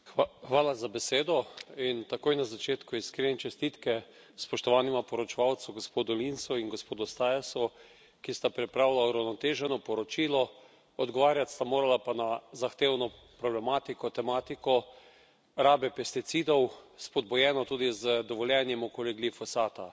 Gospod predsednik, in takoj na začetku iskrene čestitke spoštovanima poročevalcema, gospodu Linsu in gospodu Staesu, ki sta pripravila uravnoteženo poročilo, odgovarjati sta morala pa na zahtevno problematiko, tematiko rabe pesticidov, spodbujeno tudi z dovoljenjem okoli glifosata.